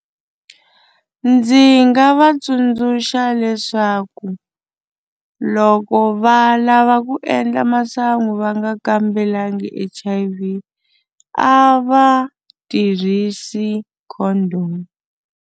Ndzi nga va tsundzuxa leswaku loko va lava ku endla masangu va nga kambelangi H_I_V a va tirhisi condom.